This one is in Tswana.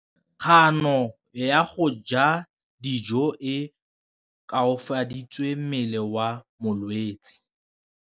Kganô ya go ja dijo e koafaditse mmele wa molwetse.